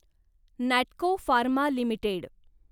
Natco pharma limited